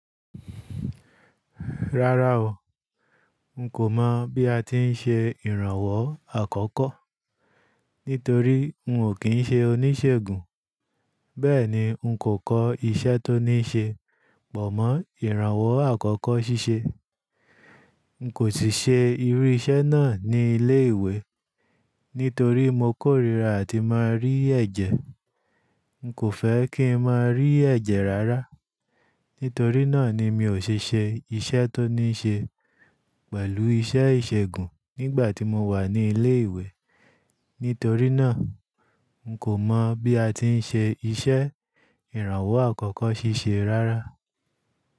Rárá o, mo kò mọ̀ bí a ti ń ṣe ìrànwọ́ àkọ́kọ́, nítorí mò kí ń ṣe oníṣègùn. Bẹ́ẹ̀ni, un kò kọ́ iṣẹ́ tó ní ṣe, pọ̀ mọ́ ìrànwọ́ àkọ́kọ́ ṣíṣe. Un kò siṣe irú iṣẹ́ náà ní ilé ìwé, nítorí mo kórìíra àti máa rí ẹ̀jẹ̀. N kò fẹ́ kí ń máa rí ẹ̀jẹ̀ rárá. Nítorí náà ni mi ò ṣẹ́ ṣẹ ìṣẹ́ tó ní ṣe pẹ̀lú iṣẹ́ ìṣègùn nígbà tí mo wà ní ilé ìwé. Nítorí náà, un kò mọ̀ bí a ti ń ṣe iṣẹ́ ìrànwọ́ àkọ́kọ́ ṣíṣe rárá.